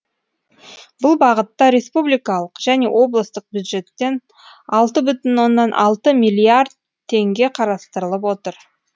бұл бағытта республикалық және облыстық бюджеттен алты бүтін оннан алты миллиард теңге қарастырылып отыр